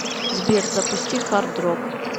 сбер запусти хардрог